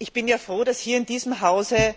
Ich bin froh, dass hier in diesem Hause